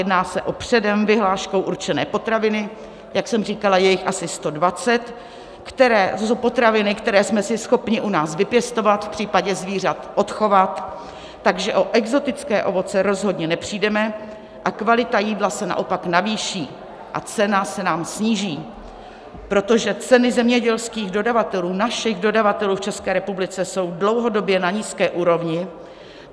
Jedná se o předem vyhláškou určené potraviny, jak jsem říkala, je jich asi 120, a to jsou potraviny, které jsme si schopni u nás vypěstovat, v případě zvířat odchovat, takže o exotické ovoce rozhodně nepřijdeme, kvalita jídla se naopak navýší a cena se nám sníží, protože ceny zemědělských dodavatelů, našich dodavatelů v České republice, jsou dlouhodobě na nízké úrovni.